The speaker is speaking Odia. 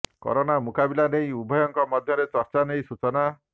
କରୋନା ମୁକାବିଲା ନେଇ ଉଭୟଙ୍କ ମଧ୍ୟରେ ଚର୍ଚ୍ଚା ନେଇ ସୂଚନା